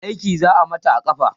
aiki za'a Mata a kafa